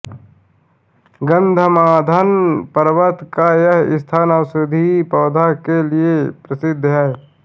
गन्धमार्दन पर्वत का यह स्थान औषधीय पौधों के लिए प्रसिद्ध है